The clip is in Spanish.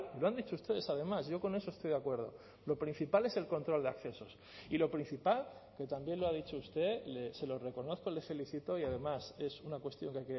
lo han dicho ustedes además yo con eso estoy de acuerdo lo principal es el control de accesos y lo principal que también lo ha dicho usted se lo reconozco le felicito y además es una cuestión que